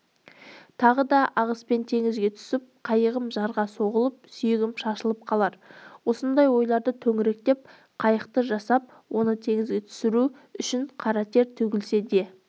тағы да ағыспен теңізге түсіп қайығым жарға соғылып сүйегім шашылып қалар осындай ойларды төңіректеп қайық жасап оны теңізге түсіру үшін қара тер төгілсе де